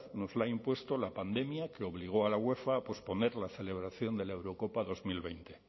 nos lo ha impuesto la pandemia que obligó a la uefa a posponer la celebración de la eurocopa dos mil veinte